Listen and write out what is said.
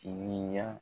Timinan